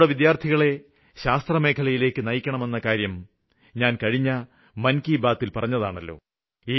നമ്മുടെ വിദ്യാര്ത്ഥികളെ ശാസ്ത്രമേഖലയിലേക്ക് നയിക്കണമെന്നകാര്യം ഞാന് കഴിഞ്ഞ മന് കി ബാത്തില് പറഞ്ഞതാണല്ലോ